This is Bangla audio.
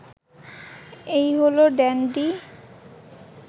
এই হল ড্যান্ডি